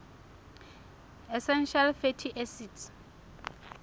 essential fatty acids